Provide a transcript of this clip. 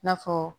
I n'a fɔ